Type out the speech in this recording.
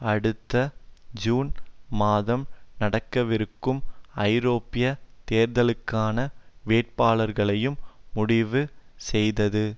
அடுத்த ஜூன் மாதம் நடக்கவிருக்கும் ஐரோப்பிய தேர்தல்களுக்கான வேட்பாளர்களையும் முடிவு செய்தது